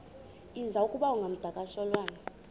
iza kuba ngumdakasholwana